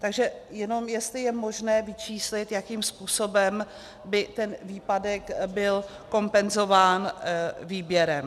Takže jenom jestli je možné vyčíslit, jakým způsobem by ten výpadek byl kompenzován výběrem.